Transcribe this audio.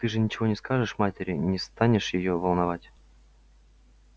ты же ничего не скажешь матери не станешь её волновать